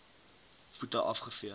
voete af gevee